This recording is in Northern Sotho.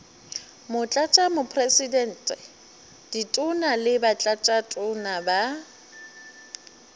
motlatšamopresidente ditona le batlatšatona ba